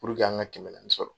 Puruke an ka kɛmɛ naani sɔrɔ.